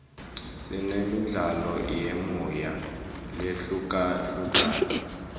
sinemidlalo yemoya lehlukahlukene